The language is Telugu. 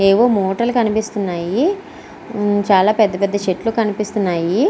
ఏవో మూటలు కనిపిస్తున్నాయి. మ్మ్ చాలా పెద్ద పెద్ద చెట్లు కనిపిస్తున్నాయి.